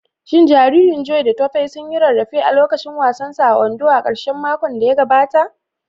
Shin jariran Joy da Tope sun yi rarrafe a lokacin wasan su a Ondo a karshen makon da ya gabata?